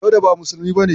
Dauda ba musulmi bane.